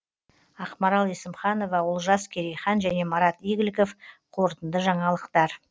ақмарал есімханова олжас керейхан және марат игіліков қорытынды жаңалықтар